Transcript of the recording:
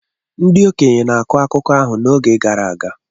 Ndị okenye na-akọ akụkọ ahụ n’oge gara aga.